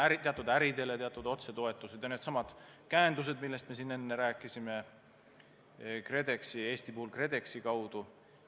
Pluss teatud äridele teatud otsetoetused ja needsamad käendused, millest me siin enne rääkisime, Eestis KredExi kaudu.